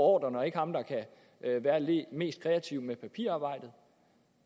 ordrerne og ikke ham der kan være mest kreativ med papirarbejdet